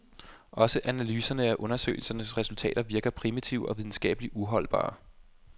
Også analyserne af undersøgelsens resultater virker primitive og videnskabeligt uholdbare.